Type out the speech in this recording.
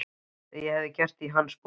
Það hefði ég gert í hans sporum.